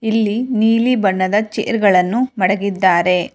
ಇಲ್ಲಿ ನೀಲಿ ಬಣ್ಣದ ಚೇರ್ ಗಳನ್ನು ಮಡಗಿದ್ದಾರೆ.